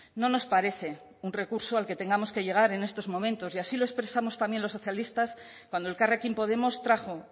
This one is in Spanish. no nos parece un recurso al que tengamos que llegar en estos momentos y así lo expresamos también los socialistas cuando elkarrekin podemos trajo